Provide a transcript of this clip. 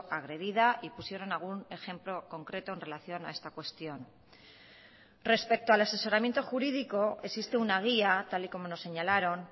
agredida y pusieron algún ejemplo concreto en relación a esta cuestión respecto al asesoramiento jurídico existe una guía tal y como nos señalaron